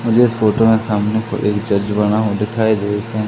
मुझे इस फोटो मे सामने एक हो दिखाई दे से--